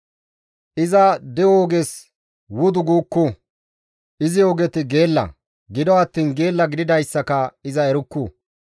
Iza de7o oges wudu guukku; izi ogeti geella; gido attiin geella gididayssaka iza erukku.